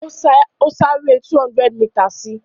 Ó sá eré 200 mításìì.